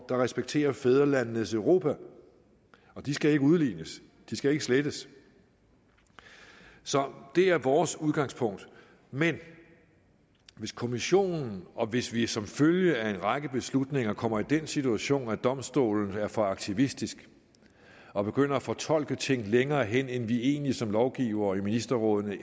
der respekterer fædrelandenes europa og de skal ikke udlignes de skal ikke slettes så det er vores udgangspunkt men hvis kommissionen og hvis vi som følge af en række beslutninger kommer i den situation at domstolen er for aktivistisk og begynder at fortolke ting længere hen end vi egentlig som lovgivere i ministerrådet